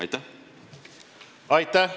Aitäh!